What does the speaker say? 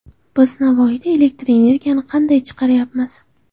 Biz Navoiyda elektr energiyani qanday chiqaryapmiz?